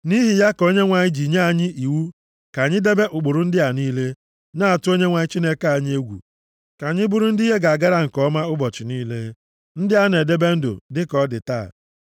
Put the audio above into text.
Nʼihi ya ka Onyenwe anyị ji nye anyị iwu ka anyị debe ụkpụrụ ndị a niile, na-atụ Onyenwe anyị Chineke anyị egwu, ka anyị bụrụ ndị ihe ga-agara nke ọma ụbọchị niile, ndị a na-edebe ndụ, dịka ọ dị taa.